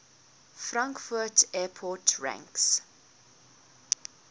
frankfurt airport ranks